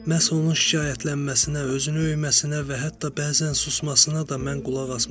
Məhz onun şikayətlənməsinə, özünü öyməsinə və hətta bəzən susmasına da mən qulaq asmışam.